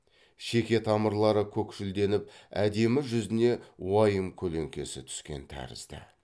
шеке тамырлары көкшілденіп әдемі жүзіне уайым көлеңкесі түскен тәрізді